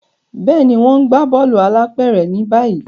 Béèni, wón n gbà bóòlù alápéré ni báyìí